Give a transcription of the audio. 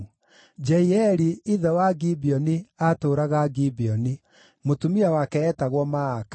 Jeieli ithe wa Gibeoni aatũũraga Gibeoni. Mũtumia wake eetagwo Maaka,